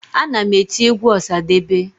Ana m eti egwu ọsadebe